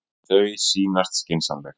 Þau sýnast skynsamleg.